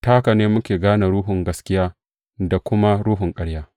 Ta haka ne muke gane Ruhun gaskiya, da kuma ruhun ƙarya.